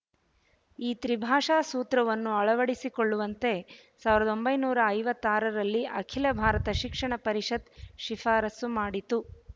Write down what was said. ಈ ತ್ರಿಭಾಷಾ ಸೂತ್ರವನ್ನು ಅಳವಡಿಸಿಕೊಳ್ಳುವಂತೆ ಸಾವಿರದ ಒಂಬೈನೂರ ಐವತ್ತಾರರಲ್ಲಿ ಅಖಿಲ ಭಾರತ ಶಿಕ್ಷಣ ಪರಿಷತ್ ಶಿಫಾರಸ್ಸು ಮಾಡಿತ್ತು